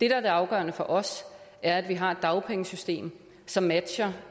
er det afgørende for os er at vi har et dagpengesystem som matcher